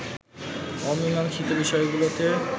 অমীমাংসীত বিষয়গুলোতে